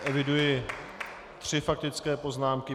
Eviduji tři faktické poznámky.